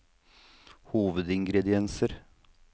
hovedingrediensene